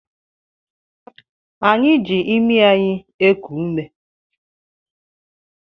Anyị ji imi anyị eku ume